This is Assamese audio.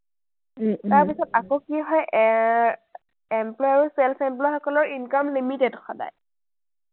তাৰপিছত আকৌ কি হয়, এৰ employee আৰু self employee সকলৰ income limited সদায়।